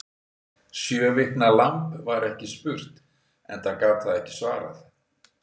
Sjö vikna lamb var ekki spurt, enda gat það ekki svarað.